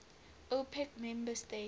opec member states